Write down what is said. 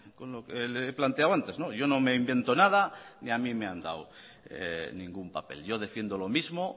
con lo que le he planteado antes yo no me invento nada ni a mí me han dado ningún papel yo defiendo lo mismo